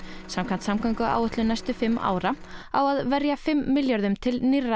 samkvæmt samgönguáætlun næstu fimm ára á að verja fimm milljörðum til nýrra